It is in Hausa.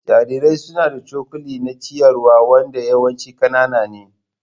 Jarirai suna da cokali na ciyarwa wanda yawanci ƙanana ne.